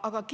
Aga